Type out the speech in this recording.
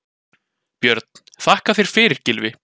Björn: Þakka þér fyrir Gylfi.